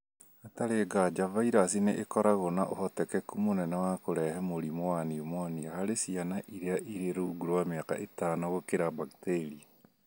Hatarĩ nganja, virus nĩ ikoragwo na ũhotekeku mũnene wa kũrehe mũrimũ wa pneumonia harĩ ciana iria irĩ rungu rwa mĩaka ĩtano gũkĩra bakteria